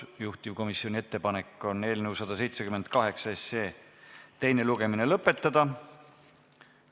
Juhtivkomisjoni ettepanek on eelnõu 178 teine lugemine lõpetada.